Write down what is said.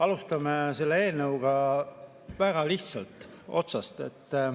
Alustame selle eelnõuga väga lihtsalt, otsast.